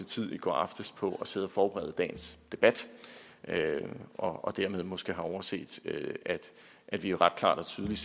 tid i går aftes på at sidde og forberede dagens debat og dermed måske har overset at vi ret klart og tydeligt